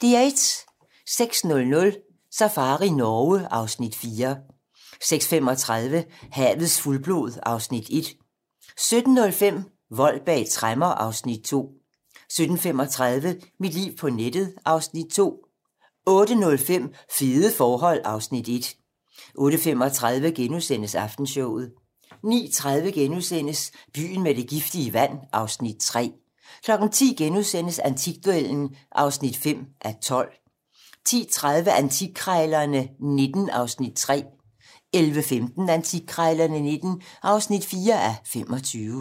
06:00: Safari Norge (Afs. 4) 06:35: Havets fuldblod (Afs. 1) 07:05: Vold bag tremmer (Afs. 2) 07:35: Mit liv på nettet (Afs. 2) 08:05: Fede forhold (Afs. 1) 08:35: Aftenshowet * 09:30: Byen med det giftige vand (Afs. 3)* 10:00: Antikduellen (5:12)* 10:30: Antikkrejlerne XIX (3:25) 11:15: Antikkrejlerne XIX (4:25)